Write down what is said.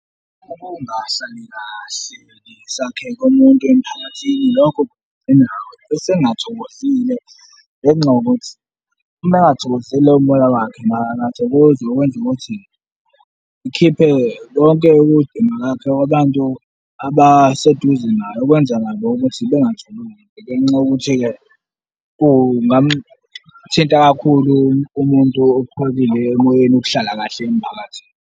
Ukungahlali kahle sakhe kumuntu emphakathini, lokho kugcina esengathokozile ngenxa yokuthi uma engathokozile umoya wakhe, akathokozi ukwenza ukuthi, ikhiphe lonke ukudinwa kwakhe kwabantu abaseduze naye, okwenza nabo ukuthi bengakhulumi ngenxa yokuthi-ke kungamthinta kakhulu umuntu okhulile emoyeni ukuhlala kahle emphakathini.